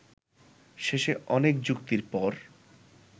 শেষে অনেক যুক্তির পর